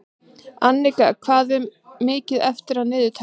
Anika, hvað er mikið eftir af niðurteljaranum?